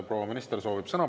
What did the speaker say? Proua minister soovib sõna.